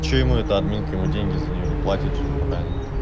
что ему это админка ему деньги за неё не платят же правильно